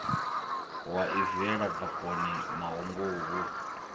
wa i viela bakoni mahunguvhu